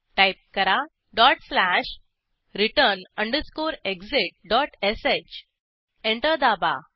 type करा dot slash return underscore exit dot sh enter दाबा